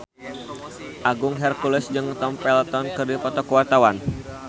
Agung Hercules jeung Tom Felton keur dipoto ku wartawan